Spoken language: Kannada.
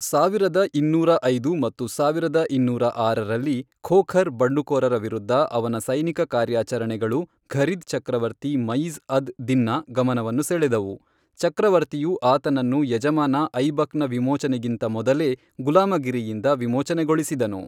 ಸಾವಿರದ ಇನ್ನೂರ ಐದು ಮತ್ತು ಸಾವಿರದ ಇನ್ನೂರ ಆರರಲ್ಲಿ, ಖೋಖರ್ ಬಂಡುಕೋರರ ವಿರುದ್ಧದ ಅವನ ಸೈನಿಕ ಕಾರ್ಯಾಚರಣೆಗಳು, ಘುರಿದ್ ಚಕ್ರವರ್ತಿ ಮುಯಿಜ್ ಅದ್ ದಿನ್ನ ಗಮನವನ್ನು ಸೆಳೆದವು, ಚಕ್ರವರ್ತಿಯು ಆತನನ್ನು ಯಜಮಾನ ಐಬಕ್ನ ವಿಮೋಚನೆಗಿಂತ ಮೊದಲೇ ಗುಲಾಮಗಿರಿಯಿಂದ ವಿಮೋಚನೆಗೊಳಿಸಿದನು.